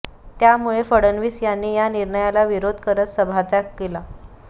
त्यामुळे फडणवीस यांनी या निर्णयाला विरोध करत सभात्याग केला